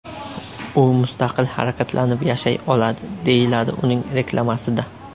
U mustaqil harakatlanib yashay oladi”, deyiladi uning reklamasida.